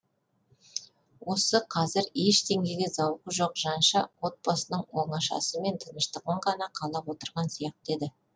осы қазір ештеңеге зауқы жоқ жанша отбасының оңашасы мен тыныштығын ғана қалап отырған сияқты еді